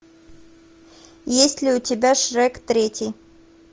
есть ли у тебя шрек третий